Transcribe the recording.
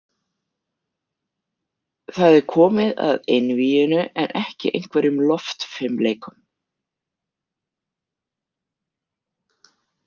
Það er komið að einvíginu en ekki einhverjum loftfimleikum